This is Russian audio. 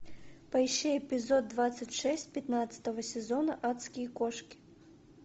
поищи эпизод двадцать шесть пятнадцатого сезона адские кошки